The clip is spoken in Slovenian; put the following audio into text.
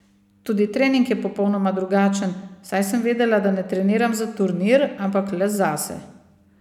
Tudi trening je popolnoma drugačen, saj sem vedela, da ne treniram za turnir, ampak le zase.